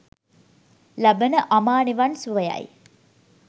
ලබන අමා නිවන් සුවයයි.